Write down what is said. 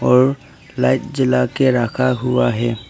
और लाइट जला के रखा हुआ है।